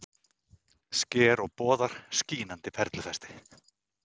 Sker og boðar: skínandi perlufesti.